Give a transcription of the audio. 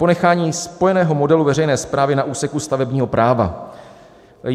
Ponechání spojeného modelu veřejné správy na úseku stavebního práva.